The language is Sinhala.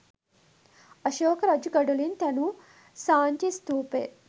අශෝක රජු ගඩොලින් තැනූ සාංචි ස්ථූපය